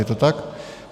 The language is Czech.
Je to tak?